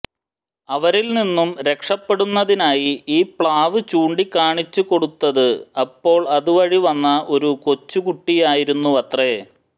അവരിൽ നിന്നും രക്ഷപെടുന്നതിനായി ഈ പ്ലാവ് ചൂണ്ടിക്കാണിച്ചുകൊടുത്തത് അപ്പോൾ അതുവഴി വന്ന ഒരു കൊച്ചു കുട്ടിയായിരുന്നുവത്രെ